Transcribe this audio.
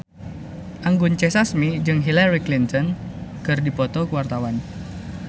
Anggun C. Sasmi jeung Hillary Clinton keur dipoto ku wartawan